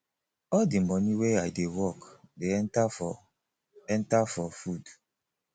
all di moni wey i dey work dey enta for enta for food